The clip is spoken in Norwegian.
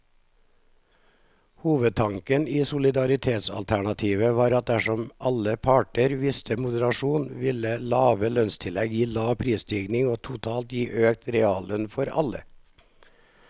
Hovedtanken i solidaritetsalternativet var at dersom alle parter viste moderasjon, ville lave lønnstillegg gi lav prisstigning og totalt gi økt reallønn for alle.